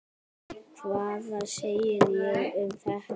Hvað segir þú um þetta?